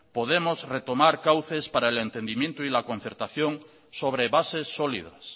podemos retomar cauces para el entendimiento y la concertación sobre bases sólidas